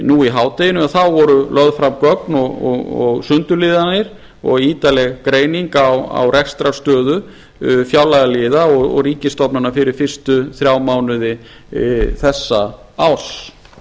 nú í hádeginu voru lögð fram gögn og sundurliðuð aðeins og ítarleg greining á rekstrarstöðu fjárlagaliða og ríkisstofnana fyrir fyrstu þrjá mánuði þessa árs